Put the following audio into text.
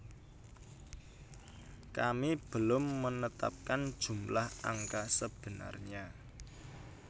Kami belum menetapkan jumlah angka sebenarnya